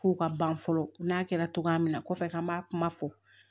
Ko ka ban fɔlɔ n'a kɛra cogoya min na kɔfɛ k'an b'a kuma fɔ